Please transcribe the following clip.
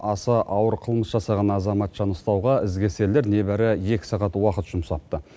аса ауыр қылмыс жасаған азаматшаны ұстауға ізкесерлер не бәрі екі сағат уақыт жұмсапты